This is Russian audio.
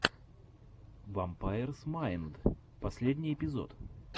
вампайрс майнд последний эпизод